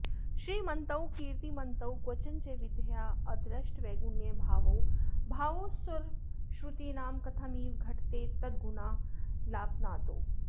श्रीमन्तौ कीर्त्तिमन्तौ क्वचन च विधयाऽदृष्टवैगुण्यभावौ भावौ सर्वश्रुतीनां कथमिव घटते तद्गुणालापनादौ